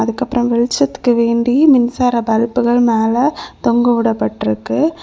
அதுக்கப்புறம் வெளிச்சத்துக்கு வேண்டி மின்சார பல்புகள் மேல தொங்கஉடப்பட்டிருக்கு.